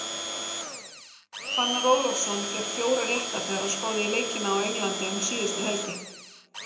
Fannar Ólafsson fékk fjóra rétta þegar hann spáði í leikina á Englandi um síðustu helgi.